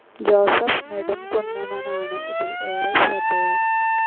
Joseph നേടുംകുന്നമാണ് ഇതിൽ ഏറെ ശ്രദ്ധേയൻ.